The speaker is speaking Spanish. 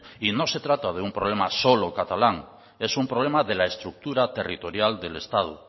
y no se trata de un problema solo catalán es un problema de la estructura territorial del estado